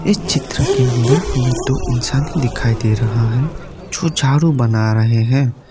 चित्र के अंदर हमें दो इंसाने दिखाई दे रहा है जो झारू बना रहे हैं।